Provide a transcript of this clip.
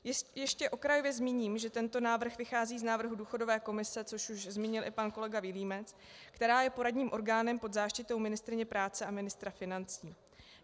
Ještě okrajově zmíním, že tento návrh vychází z návrhu důchodové komise, což už zmínil i pan kolega Vilímec, která je poradním orgánem pod záštitou ministryně práce a ministra financí.